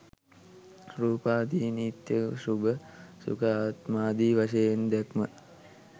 රූපාදිය නිත්‍ය, ශුභ, සුඛ ආත්මාදි වශයෙන් දැක්ම